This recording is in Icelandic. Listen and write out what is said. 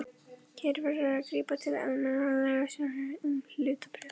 Hér verður að grípa til almennra lagasjónarmiða um hlutabréf.